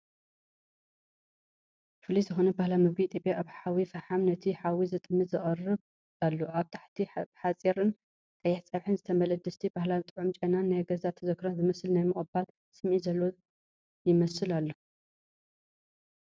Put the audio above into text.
ፍሉይ ዝኾነ ባህላዊ ምግቢ ኢትዮጵያ ኣብ ሓዊ ፈሓም፡ ነቲ ሓዊ ዝጥምት ይቐርብ ኣሎ። ኣብ ታሕቲ ብሓርፂን ቀይሕ ፀብሕን ዝተመልአ ድስቲ፡ ባህላዊ ጥዑም ጨናን ናይ ገዛ ተዘክሮታት ዝመልስ ናይ ምቕባል ስምዒትን ዘለዎ ይመስል ኣሎ።